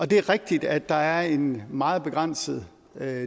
det er rigtigt at der er en meget begrænset